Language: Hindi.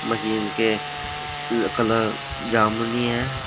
के कलर जमुनी है।